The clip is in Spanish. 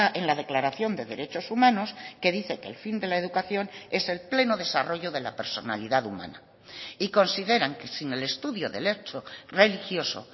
en la declaración de derechos humanos que dice que el fin de la educación es el pleno desarrollo de la personalidad humana y consideran que sin el estudio del hecho religioso